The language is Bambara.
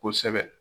Kosɛbɛ